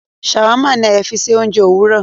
Shawarma ní Ayo fí ṣe oúnjẹ Òwúrọ